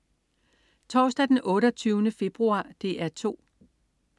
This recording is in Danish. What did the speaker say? Torsdag den 28. februar - DR 2: